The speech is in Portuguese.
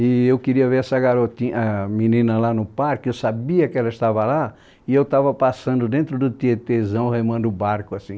E eu queria ver essa garoti, a menina lá no parque, eu sabia que ela estava lá, e eu estava passando dentro do tietezão, remando o barco, assim.